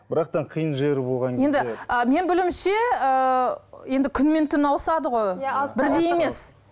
бірақ та қиын жері болған енді ы менің білуімше ыыы енді күн мен түн ауысады ғой бірдей емес